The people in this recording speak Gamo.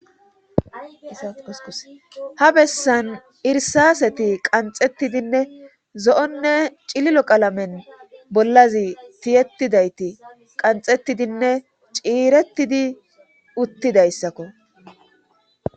issass ha bessan irsaseti qanxettidinne zo7onne cililo qalamen bollazi tiyettidayti qanxettidinne ciirettidi uttidayssakko